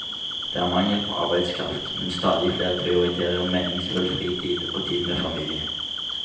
Det er mangel på arbeidskraft, men stadig flere prioriterer meningsfull fritid og tid med familien.